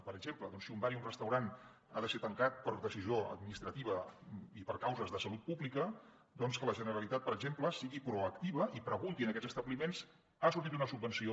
per exemple si un bar i un restaurant han de ser tancats per decisió administrativa i per causes de salut pública que la generalitat per exemple sigui proactiva i pregunti a aquests establiments ha sortit una subvenció